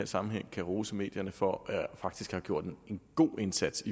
sammenhæng kan rose medierne for faktisk at have gjort en god indsats